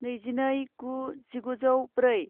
नैजिनै गु जिगुजौ ब्रै